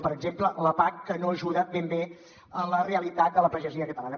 per exemple la pac que no ajuda ben bé a la realitat de la pagesia catalana